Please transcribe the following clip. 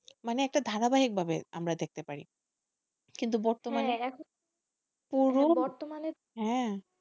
মানে একটা ধারাবাহিক ভাবে আমরা দেখতে পারি কিন্তু হ্যাঁ,